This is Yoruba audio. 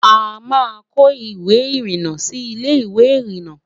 àmá kò ìwé irina Sí Ilé ìwé irinna